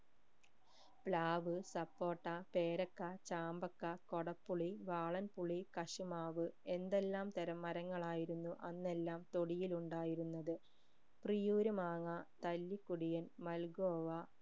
പ്ലാവ് സപ്പോട്ട പേരക്ക ചാമ്പക്ക കോടപുളി വാളൻപുളി കശുമാവ് എന്തെല്ലാം തരം മരങ്ങളായിരുന്നു അന്നെല്ലാം തൊടിയിൽ ഉണ്ടായിരുന്നത് ത്രിയൂർമാങ്ങ തല്ലിക്കുടിയൻ മൽഗോവ